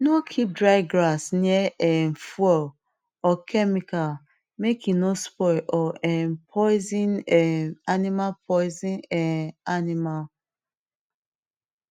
no keep dry grass near um fuel or chemical make e no spoil or um poison um animal poison um animal